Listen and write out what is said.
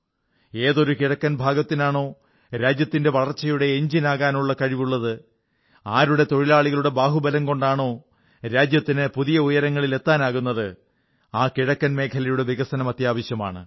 ഏതൊരു കിഴക്കൻ ഭാഗത്തിനാണോ രാജ്യത്തിന്റെ വളർച്ചയുടെ എഞ്ചിനാകാനുള്ള കഴിവുള്ളത് ആരുടെ തൊഴിലാളികളുടെ ബാഹുബലം കൊണ്ടാണോ രാജ്യത്തിന് പുതിയ ഉയരങ്ങളിൽ എത്താനാകുന്നത് ആ കിഴക്കൻ മേഖലയുടെ വികസനം അത്യാവശ്യമാണ്